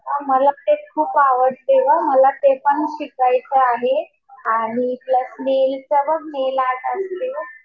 मला तेच खूप आवडते गं. मला ते पण शिकायचं आहे. आणि प्लस मी नेलं आर्टच असते